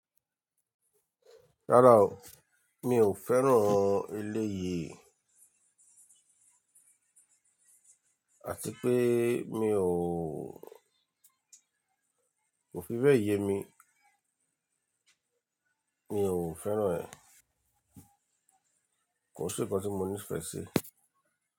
Rárá o, mi ò fẹ́ràn elé yìí. Àti pé mi ò, kò fi bẹ́ẹ̀ yẹ mi. Mi ò fẹ́ràn rẹ. Kò sí nnkan tí mo nífẹ̀ẹ́ sí.